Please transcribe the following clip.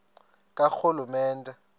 karhulumente